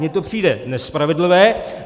Mně to přijde nespravedlivé.